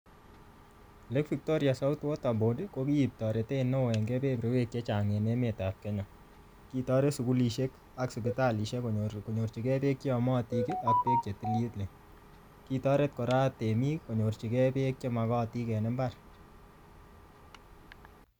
Lake Victoria South Water Board, ko kiip toretet neoo eng keberberwek chechang en emet ap Kenya. Kitoret sukulishek, ak sipitalishek konyor-konyorchikei beek che yamatik, ak beek che tililen. Kitoret kora temik, konyorchikei beek che magatin eng mbar.